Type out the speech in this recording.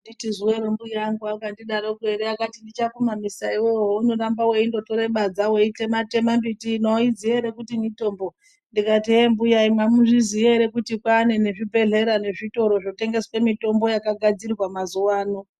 Anditi zuvero mbuya angu akandi daroko ere akati ndicha kumamisa iwewe houno ramba weindo tore badza weitema tema mbiti ini auziyi ere kuti mitombo ndikati hee mbuya imi amuzviziyi ere kuti kwane ne zvibhedhlera ne zvitoro zvotengeswe mitombo yaka gadzirwa mazuva ano.